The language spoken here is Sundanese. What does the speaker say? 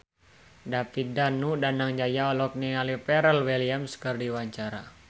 David Danu Danangjaya olohok ningali Pharrell Williams keur diwawancara